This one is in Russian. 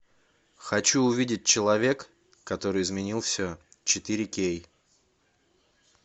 хочу увидеть человек который изменил все четыре кей